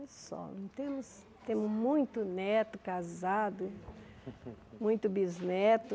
E só, não temos temos muito neto casado, muito bisneto,